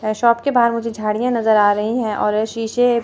अह shop के बाहर मुझे झाड़ियां नजर आ रही हैं और ये शीशे--